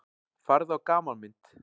Farðu á gamanmynd.